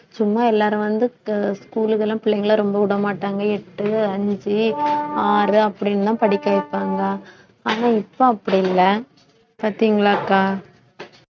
சும்மா எல்லாரும் வந்து sch~ school க்கு எல்லாம் பிள்ளைங்களை ரொம்ப விட மாட்டாங்க எட்டு அஞ்சு ஆறு அப்படின்னுலாம் படிக்க வைப்பாங்க ஆனா இப்ப அப்படி இல்லை பார்த்தீங்களாக்கா